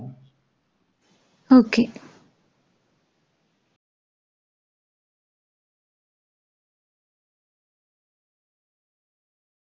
okay